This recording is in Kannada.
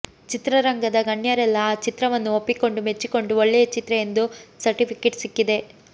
ಚಿತ್ರ ರಂಗದ ಗಣ್ಯರೆಲ್ಲಾ ಆ ಚಿತ್ರವನ್ನು ಒಪ್ಪಿಕೊಂಡು ಮೆಚ್ಚಿಕೊಂಡು ಒಳ್ಳೆಯ ಚಿತ್ರ ಎಂದು ಸರ್ಟಿಫಿಕೇಟ್ ಸಿಕ್ಕಿದೆ